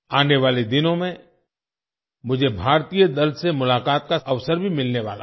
आने वाले दिनों में मुझे भारतीय दल से मुलाकात का अवसर भी मिलने वाला है